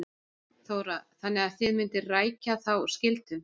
Þóra: Þannig að þið mynduð rækja þá skyldu?